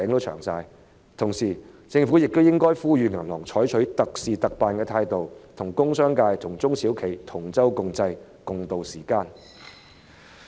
與此同時，政府亦應該呼籲銀行採取特事特辦的態度，與工商界及中小企同舟共濟，共渡時艱。